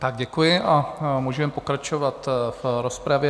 Tak děkuji a můžeme pokračovat v rozpravě.